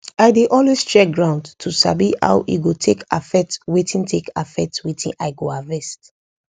i dey always check ground to sabi how e go take affect wetin take affect wetin i go harvest